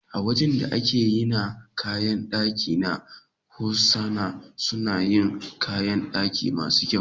Wajan da ake yina kayan ɗaki na Hosana suna yin kayan ɗaki masu kyau.